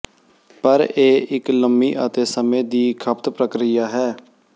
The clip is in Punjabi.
ਪਰ ਇਹ ਇੱਕ ਲੰਮੀ ਅਤੇ ਸਮੇਂ ਦੀ ਖਪਤ ਪ੍ਰਕਿਰਿਆ ਹੈ